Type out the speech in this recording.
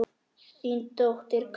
Þín dóttir Katrín.